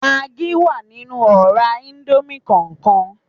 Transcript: Magí wà nínú ọ̀rá íńdómì kọọkan